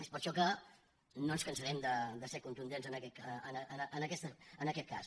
és per això que no ens cansarem de ser contundents en aquest cas